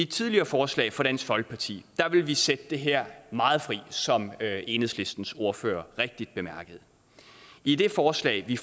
tidligere forslag fra dansk folkeparti ville vi sætte det her meget fri som enhedslistens ordfører rigtigt bemærkede i det forslag vi